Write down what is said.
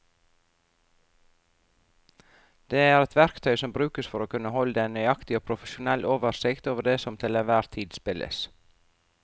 Det er et verktøy som brukes for å kunne holde en nøyaktig og profesjonell oversikt over det som til enhver tid spilles.